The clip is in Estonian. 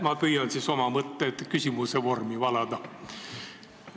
Ma püüan siis oma mõtted küsimuse vormi valada.